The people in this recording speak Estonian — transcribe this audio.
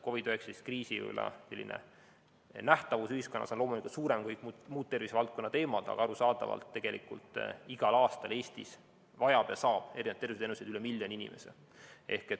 COVID‑19 kriisi nähtavus ühiskonnas on loomulikult suurem kui muudel tervisevaldkonna teemadel, aga arusaadavalt Eestis igal aastal vajab ja saab tervishoiuteenuseid üle miljoni inimese.